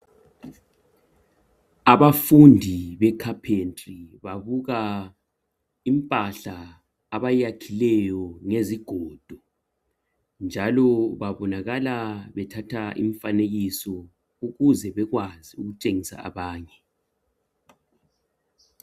abafundi be capentry babka impahla abayiyakhileyo ngezigodo njalo babonakala bethatha imfanekiso ukuze bekwazi ukutshengisa abanye